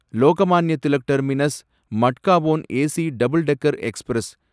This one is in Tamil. Lokmanya Tilak terminus Madgaon AC double decker express